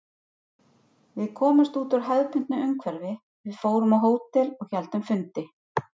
Við komumst út úr hefðbundnu umhverfi, við fórum á hótel og héldum fundi.